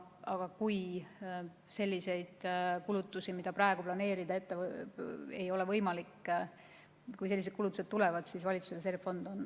Aga kui selliseid kulutusi, mida praegu planeerida ei ole võimalik, tuleb, siis nende katmiseks on valitsuse reservfond.